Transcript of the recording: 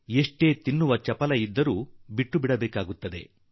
ಆಹಾರ ತಿನ್ನುವ ಎಷ್ಟೇ ಆಸೆ ಇದ್ದರೂ ಎಲ್ಲವನ್ನೂ ಬಿಡಬೇಕಾಗಿ ಬರುತ್ತದೆ